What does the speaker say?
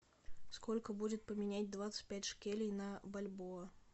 сколько будет поменять двадцать пять шекелей на бальбоа